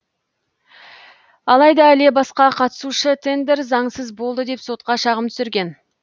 алайда іле басқа қатысушы тендер заңсыз болды деп сотқа шағым түсірген